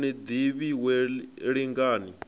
u ni ḓivha wee lingani